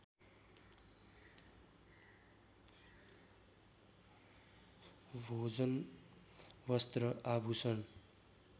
भोजन वस्त्र आभूषण